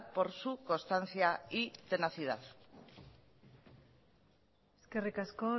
por su constancia y tenacidad eskerri asko